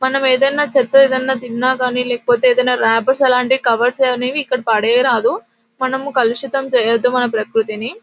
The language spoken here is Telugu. మనం ఈదిన చెత్త ఏదైనా తిన్న గని లేకపోతె ఏదైనా రేపెర్స్ అలాంటివి కవెర్స్ అవి ఇక్కడ పాడేయ్ రాదు మనము కలుషితం చెయ్యొద్దు మన ప్రకృతిని .